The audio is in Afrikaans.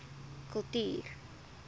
kultuur